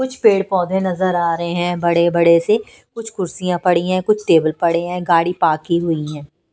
कुछ पेड़-पौधे नजर आ रहे हैं बड़े-बड़े से कुछ कुर्सियाँ पड़ी हैं कुछ टेबल पड़े हैं गाड़ी पार्क की हुई हैं।